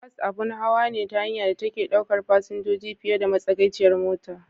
Bas abun hawa ne na hanya da take ɗaukar fasinjoji fiye da matsagaiciyar mota.